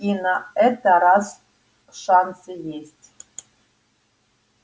и на это раз шансы есть